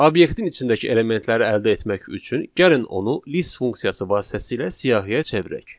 Obyektin içindəki elementləri əldə etmək üçün gəlin onu list funksiyası vasitəsilə siyahıya çevirək.